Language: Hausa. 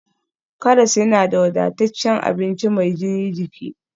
Karas yana da wadataccen abinci mai gina jiki